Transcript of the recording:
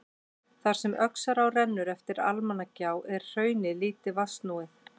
Þar sem Öxará rennur eftir Almannagjá er hraunið lítið vatnsnúið.